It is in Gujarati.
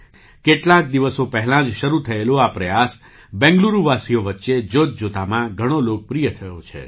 કેટલાક દિવસો પહેલાં જ શરૂ થયેલો આ પ્રયાસ બેંગ્લુરુવાસીઓ વચ્ચે જોતજોતામાં ઘણો લોકપ્રિય થયો છે